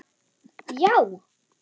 Já!